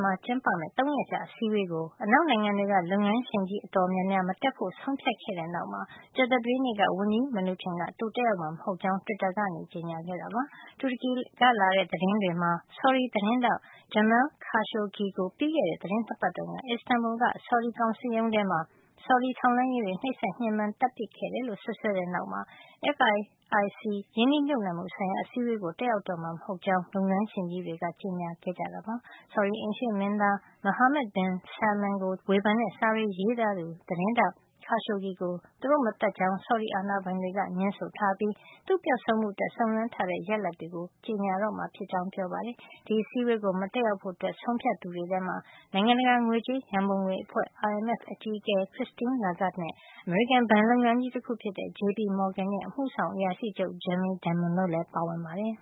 မှာ ကျင်းပမယ့် ၃ ရက်ကြာ အစည်းအဝေးကို အနောက်နိုင်ငံတွေက လုပ်ငန်းရှင်ကြီး အတော်များများက မတက်ဖို့ ဆုံးဖြတ်ခဲ့တာနောက်မှာ ကြာသပတေးနေက ဝန်ကြီး Mnuchin က သူတက်ရောက်မှာ မဟုတ်ကြောင်း တွစ်တာကနေ ကြေညာခဲ့တာ ဖြစ်ပါတယ်။ တူရကီကလာတဲ့ သတင်းတွေမှာ ဆော်ဒီသတင်းထောက် Jamal Khashoggi ကို ပြီးခဲ့တဲ့ သီတင်း ၂ ပတ်တုန်းက Istanbul က ဆော်ဒီကောင်စစ်ရုံးထဲမှာ ဆော်ဒီထောက်လှန်းရေးတွေက နှိပ်စက်ညှင်းပမ်းပြီး သတ်ဖြတ်ခဲ့တယ်လို့ စွပ်စွဲကြတဲ့ နောက်မှာ FIIC ရင်းနှီးမြှုပ်နှံမှု ဆိုင်ရာ အစည်းအဝေးကို တက်ရောက်မှာ မဟုတ်ကြောင်း လုပ်ငန်းရှင်ကြီးတွေက ကြေညာခဲ့ကြတာပါ။ ဆော်ဒီအိမ်ရှေ့မင်းသား Mohammed bin Salman ကို ဝေဖန်တဲ့ စာတွေ ရေးသားသူ သတင်းထောက် Khashoggi ကို သူတို့ မသတ်ကြောင်း ဆော်ဒီအာဏာပိုင်တွေက ငြင်းဆိုထားပြီး သူ့ပျောက်ဆုံးမှုအတွက် စုံစမ်းထားတဲ့ ရလဒ်တွေကို ကြေညာမှာ ဖြစ်ကြောင်း ပြောပါတယ်။ ဒီအစည်းအဝေးကို မတက်ရောက်ဖို့ ဆုံးဖြတ်သူတွေထဲမှာ နိုင်ငံတကာ ငွေကြေးရံပုံငွေအဖွဲ့ IMF အကြီးအကဲ Christine Lagarde နဲ့ အမေရိကန် ဘဏ်လုပ်ငန်းကြီး တခု ဖြစ်တဲ့ JP Morgan ရဲ့ အမှုဆောင်အရာရှိချုပ် Jamie Dimon တို့လည်း ပါဝင်ပါတယ်